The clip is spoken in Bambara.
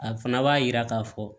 A fana b'a jira k'a fɔ